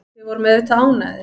Við vorum auðvitað ánægðir.